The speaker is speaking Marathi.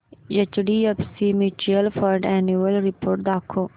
HDFC mutual fund annual report दाखव